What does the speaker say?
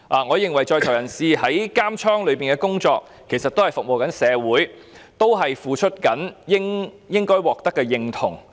我認為在囚人士在監獄的工作也是服務社會，他們付出的也應該獲得認同。